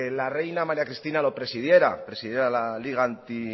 la reina maría cristina lo presidiera presidiera la liga